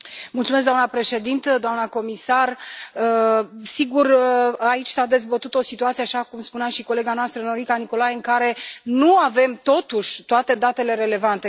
Doamnă președintă, doamnă comisar, sigur, aici s a dezbătut o situație, așa cum spunea și colega noastră Norica Nicolai, în care nu avem totuși toate datele relevante.